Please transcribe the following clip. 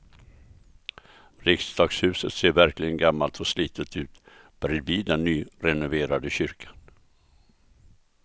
Riksdagshuset ser verkligen gammalt och slitet ut bredvid den nyrenoverade kyrkan.